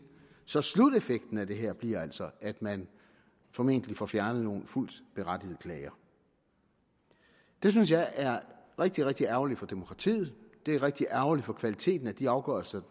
så sluteffekten af det her bliver altså at man formentlig får fjernet nogle fuldt berettigede klager det synes jeg er rigtig rigtig ærgerligt for demokratiet det er rigtig ærgerligt for kvaliteten af de afgørelser